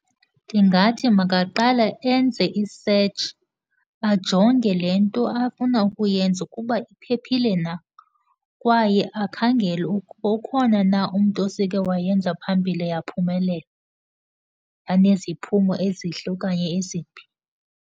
Ndingathi makaqale enze i-search, ajonge le nto afuna ukuyenza ikuba iphephile na. Kwaye akhangele ukuba ukhona umntu osekhe wayenza phambili yaphumelela, yaneziphumo ezihle okanye ezimbi.